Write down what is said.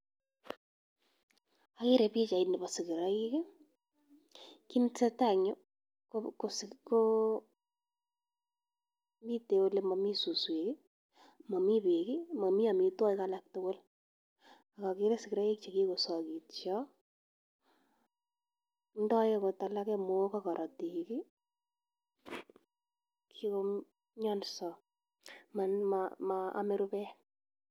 Agere pichait nebo sigiroik. Kit ne tesetai eng yu ko kosi mitei ole mami suswek, mami beek, mami amitwogik alak tugul. Ak agere sigiroik che kigosagitio, ndoi agot alake mook ak korotik, kigomnyonso, man ma ame rubet.